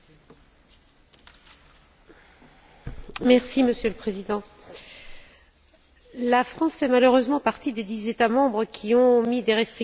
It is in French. Monsieur le Président, la France fait malheureusement partie des dix États membres qui ont posé des restrictions à la libre circulation des travailleurs roumains et bulgares.